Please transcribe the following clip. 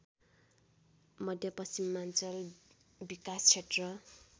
मध्यपश्चिमाञ्चल विकासक्षेत्र